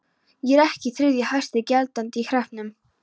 Er ég ekki þriðji hæsti gjaldandi í hreppnum?